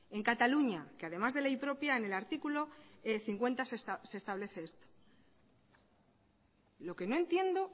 en cataluña que además de ley propia en el artículo cincuenta se establece esto lo que no entiendo